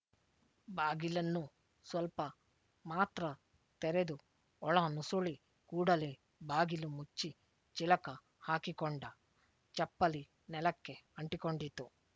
ಬಾಗಿಲನ್ನು ಸ್ವಲ್ಪ ಮಾತ್ರ ತೆರೆದು ಒಳ ನುಸುಳಿ ಕೂಡಲೇ ಬಾಗಿಲು ಮುಚ್ಚಿ ಚಿಲಕ ಹಾಕಿಕೊಂಡ ಚಪ್ಪಲಿ ನೆಲಕ್ಕೆ ಅಂಟಿಕೊಂಡಿತು